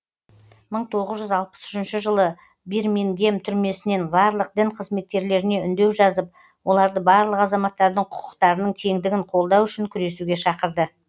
мың тоғыз жүз алпыс үшінші жылы бирмингем түрмесінен барлық дін қызметкерлеріне үндеу жазып оларды барлық азаматтардың құқықтарының теңдігін қолдау үшін күресуге шақырды